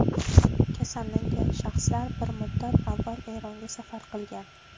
Kasallangan shaxslar bir muddat avval Eronga safar qilgan.